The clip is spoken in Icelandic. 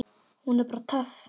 Hún er bara töff.